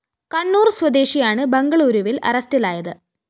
കണ്ണൂര്‍ സ്വദേശിയാണ് ബംഗളൂരുവില്‍ അറസ്റ്റിലായത്